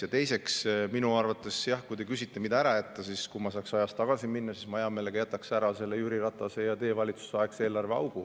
Ja teiseks, kui te küsite, mida ära jätta, siis ütlen, et kui saaks ajas tagasi minna, siis mina jätaksin hea meelega ära Jüri Ratase ja teie valitsuse aegse eelarveaugu.